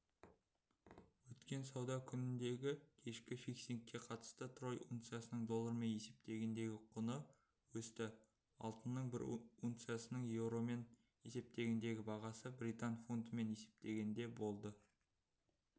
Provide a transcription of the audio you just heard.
өткен сауда күніндегікешкі фиксингке қатысты трой унциясының доллармен есептегендегі құны өсті алтынның бір унциясының еуромен есептегендегі бағасы британ фунтымен есептегенде болды